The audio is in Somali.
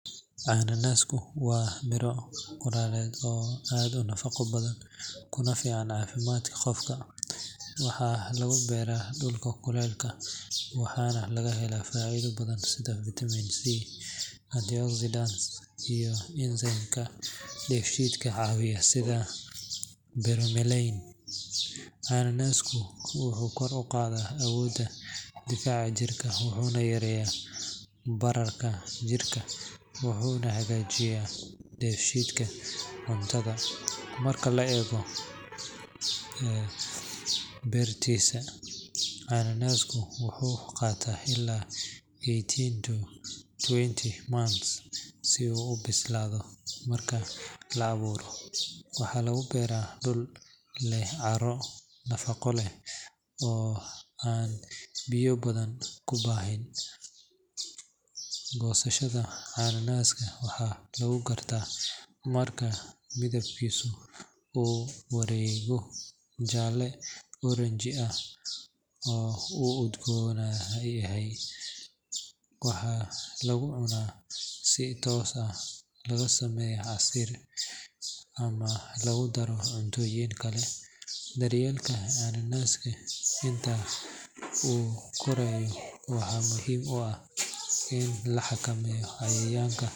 Cana nasku waa miro qoraleed oo aad nafaqo badan kuna fiicnaa caafimaadka qofka waxaa lagu beeraa dhulka kuleelka waxaana laga helaa faa-ido badan sida vitamin c ,antioxidants iyo enzyme kaa dayfitka ka caawiya sida berberayn ananasku wuxuu kor u qaadaa awoodda difaaca jirka wuxuuna yareeyaa bararka jirka wuxuuna cagaajiyaa deshiidka cuntada marka la eego ee bertiisa aanaasku wuxuu qaataa ilaa eighteen to twenty months si uu bislado marka laa abuuro waxaa lagu beeraa dhul leh caaro nafaqo leh oo aan biyo badan ku baahin goosashada caalaaska waxaa lagu gartaa marka midabkiisu uu wareego jaalle orange ah oo uu udoganahay waxaa lagu cunaa si toos ah laga sameeyo xasili ama lagu daro cuntooyin kale daryeelka aanaska sida uu qorayo waxaa muhiim u ah la xakameeya cayayaanka.